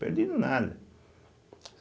Perdido nada.